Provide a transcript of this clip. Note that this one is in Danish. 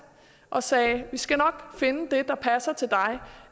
og sagde vi skal nok finde det der passer til dig